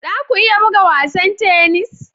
Za ku iya buga wasan tennis?